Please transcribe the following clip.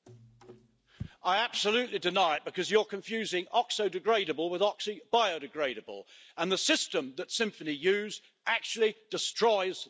I absolutely deny it, because you're confusing oxo degradable with oxo biodegradable, and the system that Symphony uses actually destroys the plastic.